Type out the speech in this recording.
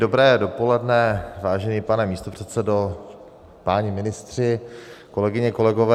Dobré dopoledne, vážený pane místopředsedo, páni ministři, kolegyně, kolegové.